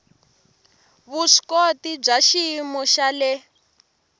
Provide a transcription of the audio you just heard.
vuswikoti bya xiyimo xa le